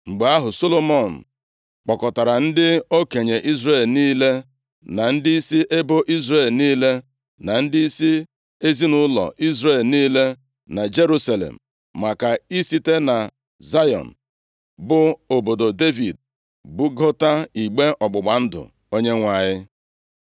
Mgbe ahụ, Solomọn kpọkọtara ndị okenye Izrel niile, na ndịisi ebo Izrel niile, na ndịisi ezinaụlọ Izrel niile na Jerusalem, maka ị site na Zayọn, bụ obodo Devid bugota igbe ọgbụgba ndụ Onyenwe anyị.